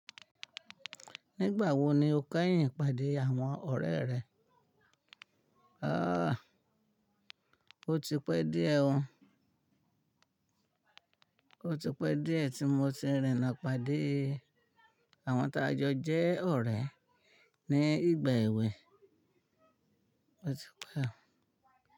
Nígbà wo ni o kẹ́yìn ìpàdé àwọn ọ̀rẹ́ rẹ? Ó ti pẹ́ díẹ̀ tí mo ti rìn na pàdé àwọn ta jọ jẹ́ ọ̀rẹ́ ní ìgbà èwe.